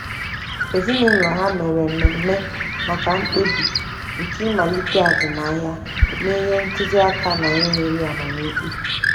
Ezinụlọ ha mere mmeme maka mkpebi nke ịmalite azụmahịa, na-enye ntụzi aka na-enweghi amam ikpe.